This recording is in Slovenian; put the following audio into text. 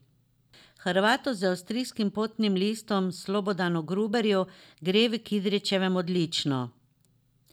Hrvatu z avstrijskim potnim listom Slobodanu Gruborju gre v Kidričevem odlično.